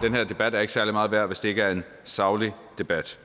den her debat er ikke særlig meget værd hvis det ikke er en saglig debat